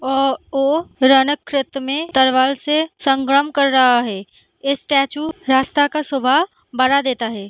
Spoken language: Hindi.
अ ओ रनक छेत्र में तलवार से संग्राम कर रहा है स्टेचू रास्ता का शोभा बढ़ा देता है।